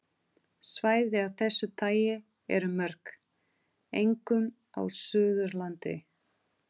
Svæði af þessu tagi eru mörg, einkum á Suðurlandi.